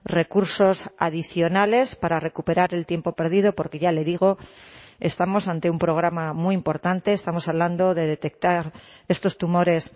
recursos adicionales para recuperar el tiempo perdido porque ya le digo estamos ante un programa muy importante estamos hablando de detectar estos tumores